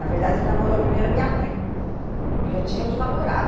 Na verdade, ele namorou primeiro a minha mãe, porque eu tinha outro namorado.